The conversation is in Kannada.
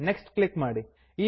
ನೆಕ್ಸ್ಟ್ ಕ್ಲಿಕ್ ಮಾಡಿ